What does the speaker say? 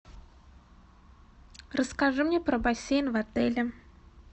расскажи мне про бассейн в отеле